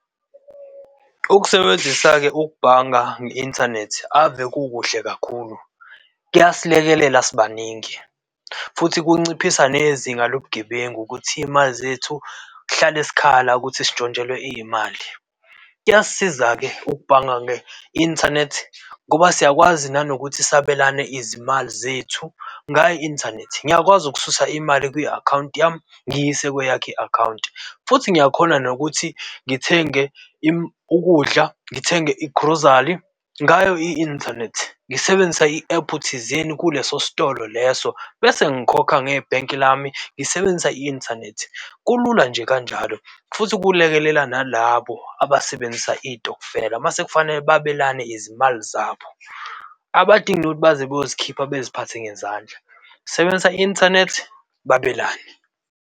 Ukusebenzisa-ke ukubhanga nge-inthanethi ave kukuhle kakhulu, kuyasilekelela sibaningi futhi kunciphisa nezinga lobugebengu ukuthi izimali zethu kuhlale sikhala ukuthi sintshontshele izimali. Kuyasisiza-ke ukubhanga nge-inthanethi ngoba siyakwazi nanokuthi sabelane izimali zethu ngayo i-inthanethi. Ngiyakwazi ukususa imali kwi akhawunti yami, ngiyise kwe yakho i-akhawunti futhi ngiyakhona nokuthi ngithenge ukudla, ngithenge igrozari ngayo i-inthanethi ngisebenzisa i-ephu thizeni kuleso sitolo leso bese ngikhokha ngebhenki lami, ngisebenzisa i-inthanethi. Kulula nje kanjalo futhi kulekelela nalabo abasebenzisa izitokufela. Mase kufanele babelane izimali zabo abadingi ukuthi baze bayozikhipha, beziphathe ngezandla. Sebenzisa i-inthanethi, babelane.